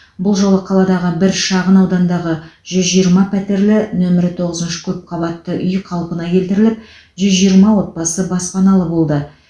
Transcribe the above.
бұл жолы қаладағы бір шағын аудандағы жүз жиырма пәтерлі нөмірі тоғызыншы көпқабатты үй қалпына келтіріліп жүз жиырма отбасы баспаналы болды